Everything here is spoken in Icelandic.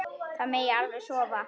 Það megi alveg sofa.